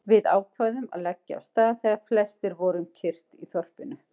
Við ákváðum að leggja af stað þegar flestir voru um kyrrt í þorpinu.